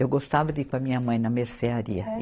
Eu gostava de ir com a minha mãe na mercearia. É